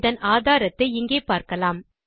இதன் ஆதாரத்தை இங்கே பார்க்கலாம்